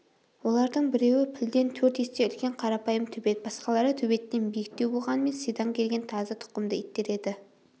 олардың біреуі пілден төрт есе үлкен қарапайым төбет басқалары төбеттен биіктеу болғанымен сидаң келген тазы тұқымды иттер еді